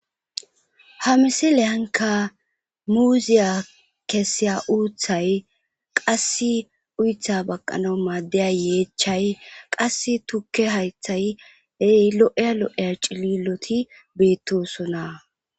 Ha misilehanka muuziya kesiya uuthay qass uytha baqqana maaddeya yeechchay qas tukke haythay ey lo7e lo7e cililoti beettosona.